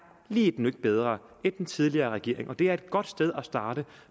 lige et nøk bedre end den tidligere regerings og det er et godt sted at starte